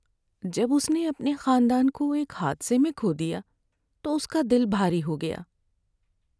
جب اس نے اپنے خاندان کو ایک حادثے میں کھو دیا تو اس کا دل بھاری ہو گیا۔